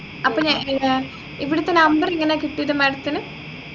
അപ്പൊ ഞാൻ ഏർ ഇവിടെത്തെ Number എങ്ങനെയാ കിട്ടിയത് Madam ത്തിനു